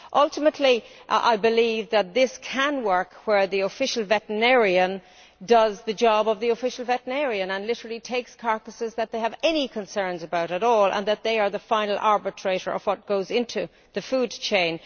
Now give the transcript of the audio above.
Ultimately I believe that this can work where the official veterinarian does the job of the official veterinarian and literally takes away carcasses which they have any concerns about at all, and that they are the final arbiter of what goes into the food chain.